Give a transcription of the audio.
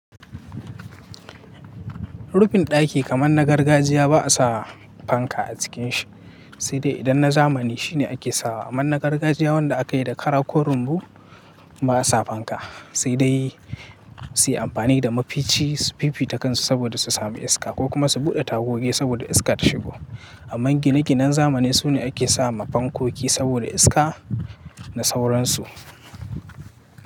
Rufin ɗaki kaman na gargajiya ba a sa fanka a cikin shi, sai dai idan na zamani shi ne ake sawa. Amma na gargajiya wanda aka yi da kara ko rumbu ba a sa fanka, sai dai su yi amfani da mafici su fifi takansu saboda su sami iska ko kuma su buɗe tagogi saboda iska ta shigo. Amma gine-ginen zamani su ne ake sama fankoki saboda iska da sauransu.